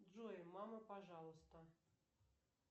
джой мама пожалуйста